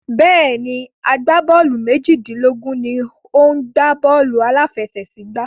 Bẹ́ẹ̀ni, agbábọ́ọ̀lù méjìlélógún ni ó ń gbá bọ́ọ̀lù aláfẹsẹ̀gbá.